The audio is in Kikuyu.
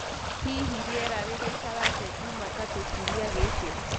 hĩhĩ rĩera rĩgaĩkara atĩa jumatatũ kĩumĩa giki